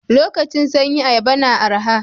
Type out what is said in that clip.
Lokacin sanyi ayaba na araha.